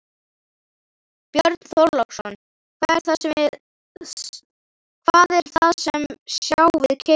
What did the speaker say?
Björn Þorláksson: Hvað er það sem sjá við keiluna?